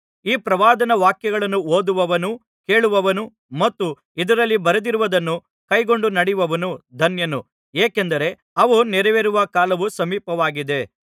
ಈ ಪ್ರವಾದನಾ ವಾಕ್ಯಗಳನ್ನು ಓದುವವನೂ ಕೇಳುವವರೂ ಮತ್ತು ಇದರಲ್ಲಿ ಬರೆದಿರುವುದನ್ನು ಕೈಕೊಂಡು ನಡೆಯುವವರೂ ಧನ್ಯರು ಏಕೆಂದರೆ ಅವು ನೆರವೇರುವ ಕಾಲವು ಸಮೀಪವಾಗಿದೆ